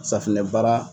Safunɛ baara